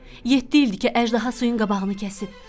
Yeddi ildir ki, əjdaha suyun qabağını kəsib.